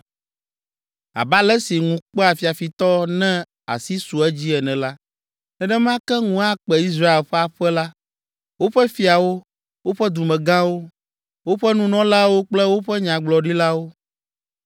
“Abe ale si ŋu kpea fiafitɔ ne asi su edzi ene la, nenema ke ŋu akpe Israel ƒe aƒe la, woƒe fiawo, woƒe dumegãwo, woƒe nunɔlawo kple woƒe nyagblɔɖilawo.